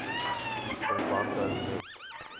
verband hou met